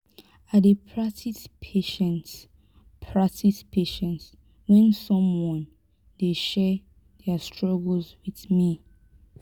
i dey practice patience practice patience when someone dey share their struggles with me.